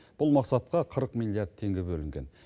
бұл мақсатқа қырық миллиард теңге бөлінген